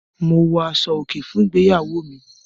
Mo wọ aṣọ-òkè fún ìgbéyàwó mi.